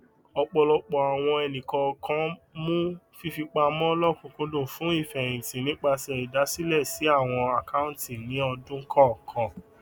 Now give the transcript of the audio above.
ọpọlọpọ àwọn ènìkọọkan mú fífipamọ lọkùnkúndùn fún ìfẹhìntì nípasẹ ìdàsílẹ sí àwọn akọunti ní ọdún kọọkan